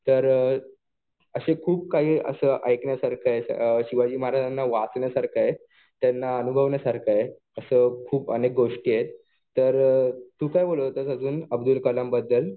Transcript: तर असं खूप काही असं ऐकण्यासारखं आहे. शिवाजी महाराजांना वाचण्यासारखं आहे. त्यांना अनुभवण्यासारखं आहे. असं खूप अनेक गोष्टी आहेत. तर तु काय बोलत होतास अजून अब्दुल कलाम बद्दल?